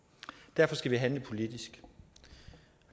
derfor skal vi handle politisk og